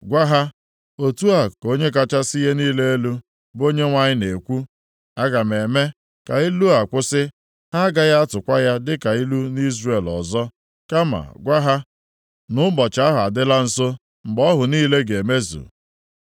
Gwa ha, ‘Otu a ka Onye kachasị ihe niile elu, bụ Onyenwe anyị na-ekwu, Aga m eme ka ilu a kwụsị, ha agaghị atụkwa ya dịka ilu nʼIzrel ọzọ.’ Kama gwa ha, ‘Nʼụbọchị ahụ adịla nso mgbe ọhụ niile ga-emezu.